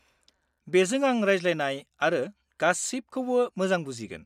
-बेजों आं रायज्लायनाय आरो गासिबखौबो मोजां बुजिगोन।